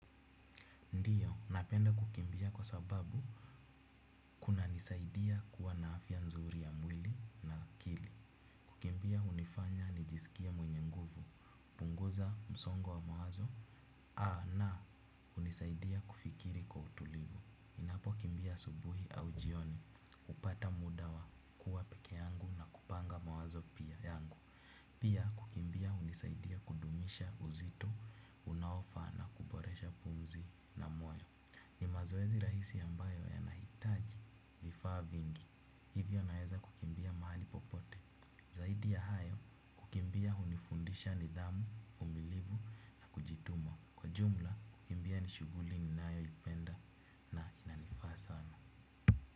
Napenda kukimbia kwa sababu kuna nisaidia kuwa na afya nzuri ya mwili na akili. Kukimbia hunifanya nijisikie mwenye nguvu, hupunguza msongo wa mawazo. Na hunisaidia kufikiri kwa utulivu ninapo kimbia asubuhi au jioni hupata muda wa kuwa peke yangu na kupanga mawazo pia yangu. Pia kukimbia hunisaidia kudumisha uzito unaofaa na kuboresha pumzi na moyo. Ni mazoezi rahisi ambayo yanahitaji vifaa vingi, hivyo naeza kukimbia mahali popote, zaidi ya hayo kukimbia hunifundisha nidhamu, uvumilivu, na kujituma, kwa jumla kukimbia ni shuguli ni nayo ipenda na inanifaa sana.